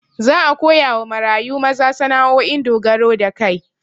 Za a koyawa marayu maza sana'o'in dogaro da kai